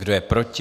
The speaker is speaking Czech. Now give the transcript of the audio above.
Kdo je proti?